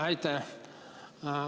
Aitäh!